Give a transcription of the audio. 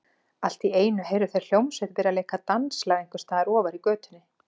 Allt í einu heyrðu þeir hljómsveit byrja að leika danslag einhvers staðar ofar í götunni.